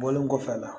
Bɔlen kɔfɛ a la